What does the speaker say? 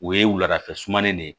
O ye wuladafɛ sumanen de ye